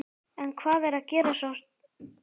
En hvað er að gerast á sama tíma?